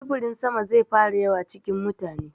Sufurin sama zai fara yawa cikin mutane.